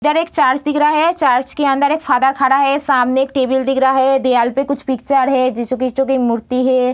इधर एक चर्च दिख रहा है। चर्च के अंदर एक फ़ादर खड़ा है। सामने एक टेबल दिख रहा है। दिआल पे कुछ पिचर है। की मूर्ति हैं।